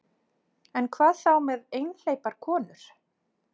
En hvað þá með einhleypar konur?